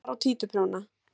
Nálar og títuprjóna.